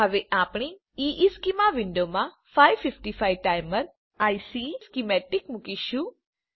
હવે આપણે ઇશ્ચેમાં વિન્ડોમાં 555 ટાઈમર આઇસી સ્કીમેટીક મુકીશું